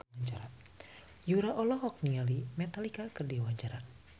Yura olohok ningali Metallica keur diwawancara